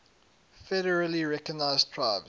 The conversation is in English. federally recognized tribes